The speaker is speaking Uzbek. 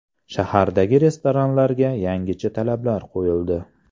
Shahardagi restoranlarga yangicha talablar qo‘yildi.